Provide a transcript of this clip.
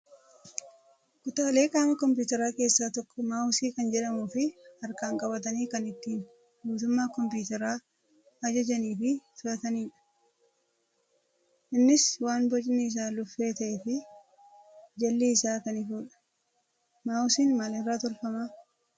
Kutaalee qaama kompiitaraa keessaa tokko maawusii kan jedhamuu fi harkaan qabatanii kan ittiin guutummaa kompiitaraa ajajanii fi to'atanidha. Innis waan bocni isaa luffee ta'ee fi jalli isaa kan ifudha. Maawusiin maalirraa tolfamaa?